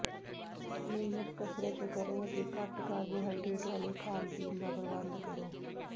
ਨਿਯਮਤ ਕਸਰਤ ਕਰੋ ਅਤੇ ਘੱਟ ਕਾਰਬੋਹਾਈਡਰੇਟ ਵਾਲੇ ਖਾਣ ਪੀਣ ਦਾ ਪ੍ਰਬੰਧ ਕਰੋ